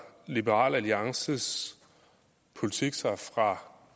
liberal alliances politik sig fra